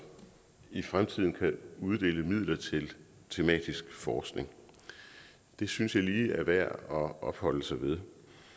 i fremtiden kan uddele midler til tematisk forskning det synes jeg lige er værd at opholde sig ved